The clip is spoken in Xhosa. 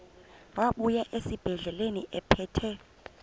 wabuya esibedlela ephethe